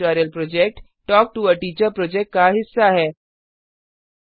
spoken tutorial project talk to a teacher project का हिस्सा है